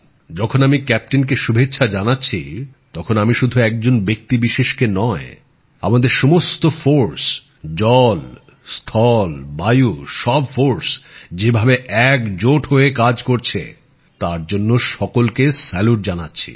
যখন আমি ক্যাপ্টেনকে শুভেচ্ছা জানাচ্ছি তখন আমি শুধু একজন ব্যক্তিবিশেষকে নয় আমাদের সমস্ত বাহিনী নৌ স্থল বায়ু সব বাহিনী যে ভাবে একজোট হয়ে কাজ করছে তার জন্য সকলকে স্যালুট জানাচ্ছি